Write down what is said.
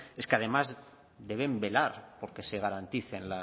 es que además deben velar por que se garanticen